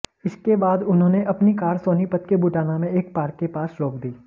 इसके बाद उन्होंने अपनी कार सोनीपत के बुटाना में एक पार्क के पास रोक दी